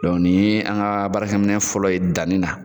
nin ye an ka baarakɛ minɛn fɔlɔ ye danni na.